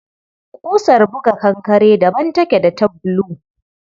Ƙusar buga kankare daban take da ta bulu.